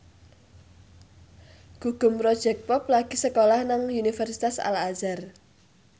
Gugum Project Pop lagi sekolah nang Universitas Al Azhar